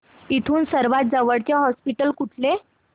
इथून सर्वांत जवळचे हॉस्पिटल कुठले